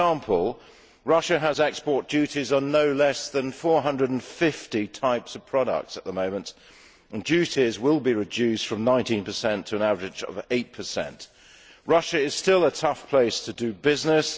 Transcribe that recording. For example, Russia has export duties on no less than 450 types of products at the moment, and duties will be reduced from 19 to an average of 8 Russia is still a tough place to do business.